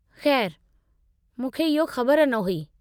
खै़रु, मूंखे इहो ख़बर न हुई।